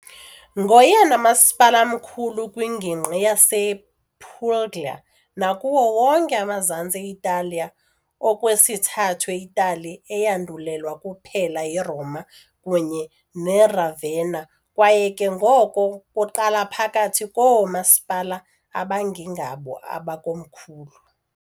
Ngoyena masipala mkhulu kwingingqi yasePuglia nakuwo wonke amazantsi e-Italiya, okwesithathu e-Itali, eyandulelwa kuphela yiRoma kunye neRavenna kwaye ke ngoko kuqala phakathi koomasipala abangengabo amakomkhulu.